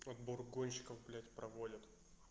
отбор гонщиков блядь проводят